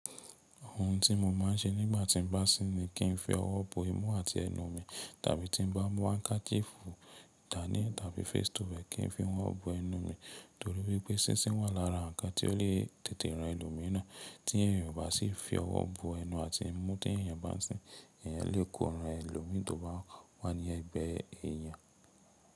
Ohun tí mo máa ń ṣe nígbà tí n bá sín ni kí n fi ọwọ́ bo imú àti ẹnu mi. Tàbí tí n bá mu handkerchiefu dání tàbí face towel, kí n fi mọ bo ẹnu mi. Torí wipé sinsín wà lára nǹkan tí ó lè tètè rán ẹlòmíràn. Tí èèyàn ò bá sí fi ọwọ́ bo ẹnu àti imú tí èèyàn bá sín, èèyàn lè kó ran ẹlòmí tó bá wà ní ẹ̀gbẹ́ èèyàn.